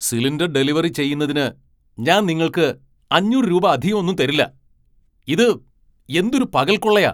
Cylinder delivery ചെയ്യുന്നതിന് ഞാൻ നിങ്ങൾക്ക് അഞ്ഞൂറ് രൂപ അധികമൊന്നും തരില്ല. ഇത് എന്തൊരു പകൽക്കൊള്ളയാ !